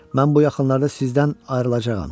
Mən bu yaxınlarda sizdən ayrılacağam.